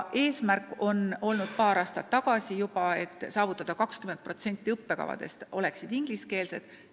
Eesmärk on juba paar aastat olnud saavutada tase, et 20% õppekavadest oleksid ingliskeelsed.